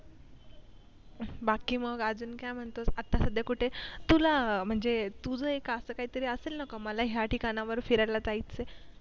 बाकी मग अजून काय म्हणतोस आता सध्यां कुठेस तुला म्हणजे तुझं एक असं काय तरी असेल ना मला या ठिकाणावर फिरायला जायचंय.